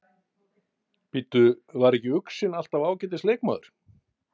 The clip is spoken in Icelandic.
Bíddu, var ekki Uxinn alltaf ágætis leikmaður?